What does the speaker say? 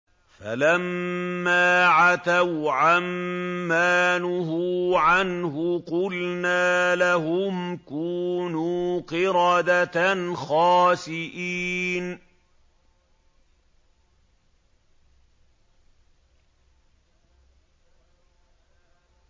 فَلَمَّا عَتَوْا عَن مَّا نُهُوا عَنْهُ قُلْنَا لَهُمْ كُونُوا قِرَدَةً خَاسِئِينَ